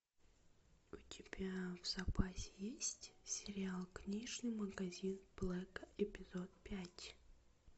у тебя в запасе есть сериал книжный магазин блэка эпизод пять